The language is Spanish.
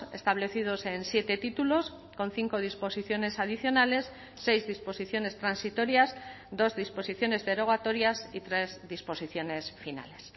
establecidos en siete títulos con cinco disposiciones adicionales seis disposiciones transitorias dos disposiciones derogatorias y tres disposiciones finales